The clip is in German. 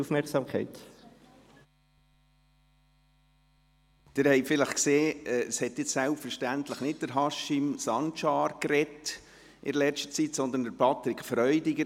Sie haben vielleicht gesehen, dass soeben selbstverständlich nicht Haşim Sancar gesprochen hat, sondern Patrick Freudiger.